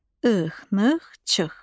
Ix-nıx, çıx.